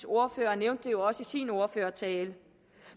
ordfører nævnte det jo også i sin ordførertale